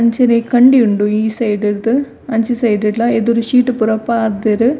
ಅಂಚನೆ ಕಂಡಿ ಉಂಡು ಈ ಸೈಡ್ ರ್ದ್ ಅಂಚಿ ಸೈಡ್ ಡ್ಲ ಎದುರು ಶೀಟ್ ಪೂರ ಪಾರ್ದೆರ್.